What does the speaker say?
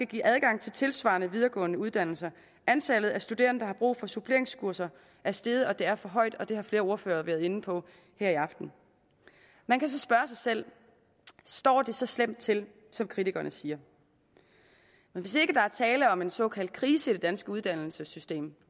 give adgang til tilsvarende videregående uddannelser antallet af studerende der har brug for suppleringskurser er steget og det er for højt og det har flere ordførere været inde på her i aften man kan spørge sig selv står det så slemt til som kritikerne siger hvis ikke der er tale om en såkaldt krise i det danske uddannelsessystem